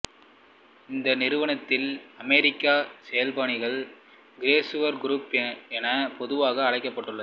இந்த நிறுவனத்தின் அமெரிக்க செயல்பணிகள் கிரைசுலர் குரூப் எனப் பொதுவாக அழைக்கப்பட்டது